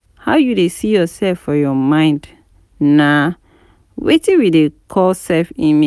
How you dey see yourself for your mind nah Wetin we dey call self image